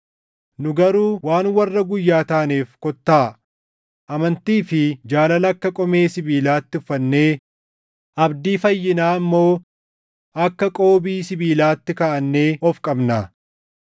Nu garuu waan warra guyyaa taaneef kottaa amantii fi jaalala akka qomee sibiilaatti uffannee, abdii fayyinaa immoo akka qoobii sibiilaatti kaaʼannee of qabnaa.